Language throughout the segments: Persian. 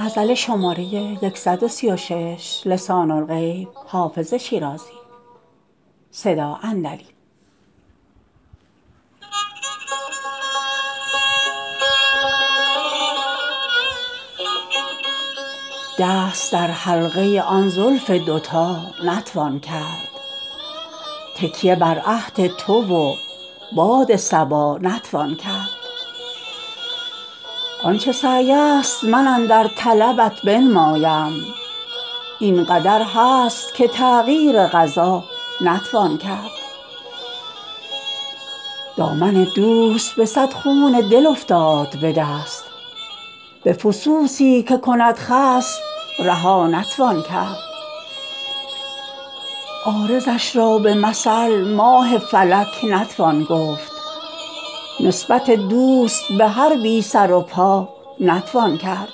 دست در حلقه آن زلف دوتا نتوان کرد تکیه بر عهد تو و باد صبا نتوان کرد آن چه سعی است من اندر طلبت بنمایم این قدر هست که تغییر قضا نتوان کرد دامن دوست به صد خون دل افتاد به دست به فسوسی که کند خصم رها نتوان کرد عارضش را به مثل ماه فلک نتوان گفت نسبت دوست به هر بی سر و پا نتوان کرد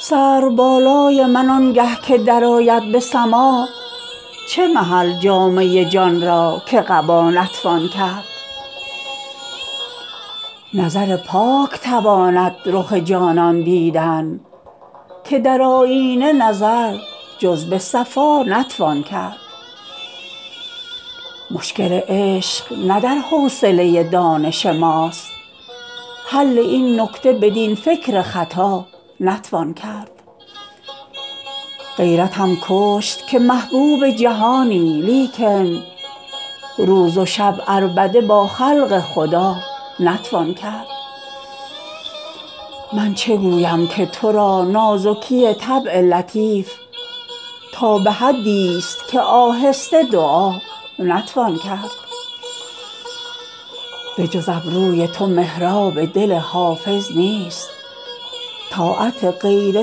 سرو بالای من آنگه که درآید به سماع چه محل جامه جان را که قبا نتوان کرد نظر پاک تواند رخ جانان دیدن که در آیینه نظر جز به صفا نتوان کرد مشکل عشق نه در حوصله دانش ماست حل این نکته بدین فکر خطا نتوان کرد غیرتم کشت که محبوب جهانی لیکن روز و شب عربده با خلق خدا نتوان کرد من چه گویم که تو را نازکی طبع لطیف تا به حدیست که آهسته دعا نتوان کرد بجز ابروی تو محراب دل حافظ نیست طاعت غیر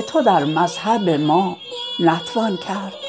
تو در مذهب ما نتوان کرد